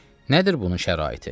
Nədir bunun şəraiti?